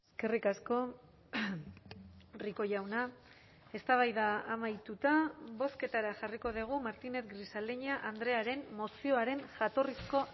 eskerrik asko rico jauna eztabaida amaituta bozketara jarriko dugu martínez grisaleña andrearen mozioaren jatorrizko